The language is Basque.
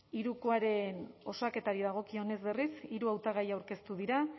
hirukoaren osaketari dagokionez berriz hiru hautagai aurkeztu dira